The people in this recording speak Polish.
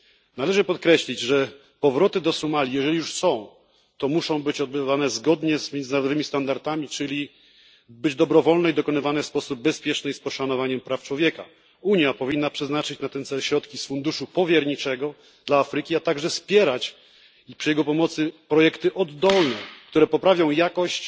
Należy podkreślić, że powroty do Somalii, jeżeli już są, muszą się odbywać zgodnie z międzynarodowymi standardami, czyli dobrowolnie, bezpiecznie i z poszanowaniem praw człowieka. Unia powinna przeznaczyć na ten cel środki z funduszu powierniczego dla Afryki, a także wspierać przy jego pomocy projekty oddolne, które poprawią jakość